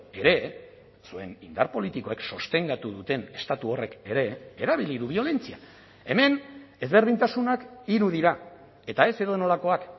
ere zuen indar politikoek sostengatu duten estatu horrek ere erabili du biolentzia hemen ezberdintasunak hiru dira eta ez edonolakoak